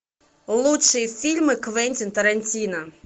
лучшие фильмы квентин тарантино